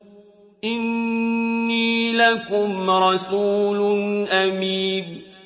إِنِّي لَكُمْ رَسُولٌ أَمِينٌ